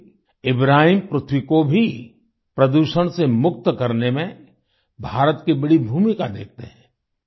साथ ही इब्राहिम पृथ्वी को भी प्रदूषण से मुक्त करने में भारत की बड़ी भूमिका देखते हैं